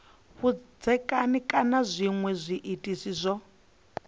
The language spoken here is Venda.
vhudzekani kana zwinwe zwiitisi zwo